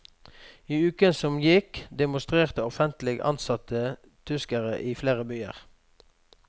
I uken som gikk demonstrerte offentlig ansatte tyskere i flere byer.